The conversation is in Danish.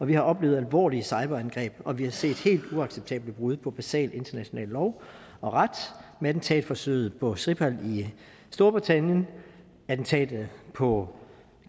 vi har oplevet alvorlige cyberangreb og vi har set helt uacceptable brud på basal international lov og ret med attentatforsøget på skripal i storbritannien attentatet på